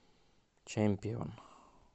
чемпион